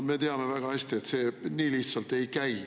Me teame väga hästi, et see nii lihtsalt ei käi.